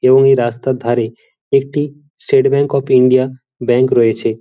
এবং এই রাস্তার ধারে একটি State Bank of India bank রয়েছে।